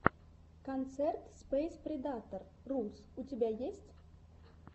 концерт спэйспредатор рус у тебя есть